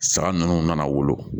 Sara nunnu nana wolo